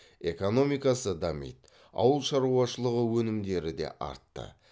экономикасы дамиды ауылшаруашылығы өнімдері де артты